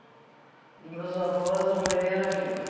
Dos meus avós, a maioria era vivo.